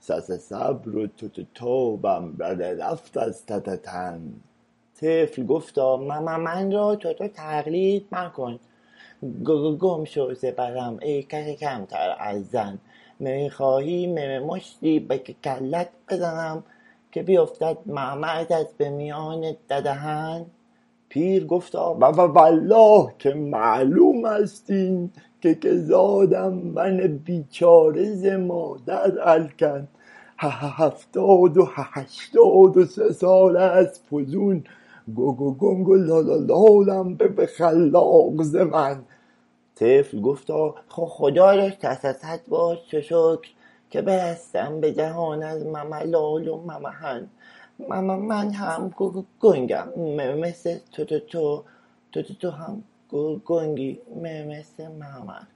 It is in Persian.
صصصبر و تاتاتابم رررفت از تتتن طفل گفتا مممن را تتو تقلید مکن گگگم شو ز برم ای کککمتر از زن می خخواهی مممشتی به ککلت بزنم که بیفتد مممغزت ممیان ددهن پیر گفتا وووالله که معلومست این که که زادم من بیچاره ز مادر الکن هههفتاد و ههشتاد و سه سالست فزون گگگنگ و لالالالم به خخلاق زمن طفل گفتا خخدا را صصصدبار ششکر که برستم به جهان از مملال و ممحن مممن هم گگگنگم مممثل تتتو تتتو هم گگگنگی مممثل مممن